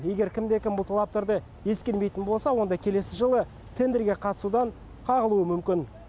егер кімде кім бұл талаптарды ескермейтін болса онда келесі жылы тендерге қатысудан қағылуы мүмкін